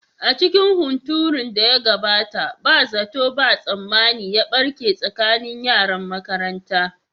A cikin hunturun da ya gabata, ba zato ba tsammani ya barke tsakanin yaran makaranta.